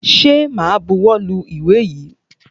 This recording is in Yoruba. Ṣẹ ma buwọ́ lu ìwé yìí?